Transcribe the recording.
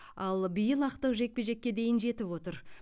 ал биыл ақтық жекпе жеке дейін жетіп отыр